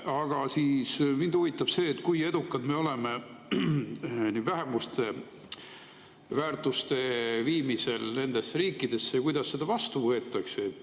Aga mind huvitab see, kui edukad me oleme vähemuste väärtuste viimisel nendesse riikidesse ja kuidas seda vastu võetakse.